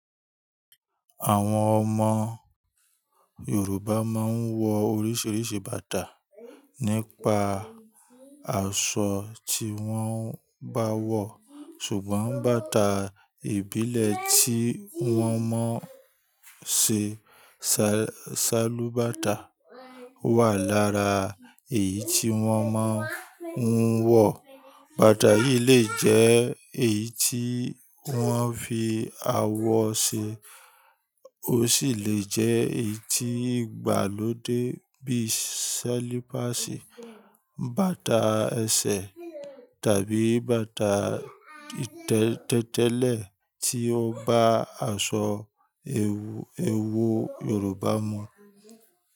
Àwọn ọmọ Yorùbá máa ń wọ oríṣiríṣi bàtà nípa aṣọ tí wọ́n bá wọ̀, ṣùgbọ́n bàtà ìbílẹ̀ tí wọ́n máa ń ṣe, ṣálú bàtà, wà lára èyí tí wọ́n máa ń wọ̀. Bàtà yìí lè jẹ́ èyí tí wọ́n fi awọ ṣe, ó sì lè jẹ́ èyí tí ìgbà ló dé bíi ṣalípásì, bàtà ẹsẹ̀ tàbí bàtà tẹ́tẹ́lẹ̀ tí ó bá aṣọ ewu ewu Yorùbá mu.